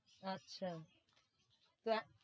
আচ্ছা